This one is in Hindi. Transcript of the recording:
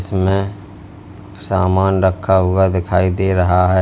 इसमें सामान रखा हुआ दिखाई दे रहा है।